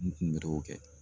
N kun bɛ t'o kɛ